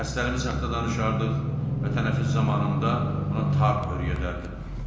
Dərslərimi saxtadan çıxarırdıq və tənəffüs zamanında ona tar örədərdim.